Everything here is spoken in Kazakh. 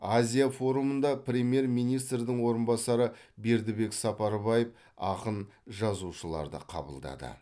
азия форумында премьер министрдің орынбасары бердікбек сапарбаев ақын жазушыларды қабылдады